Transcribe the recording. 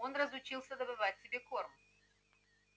он разучился добывать себе корм